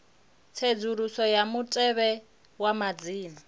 tsedzuluso ya mutevhe wa madzina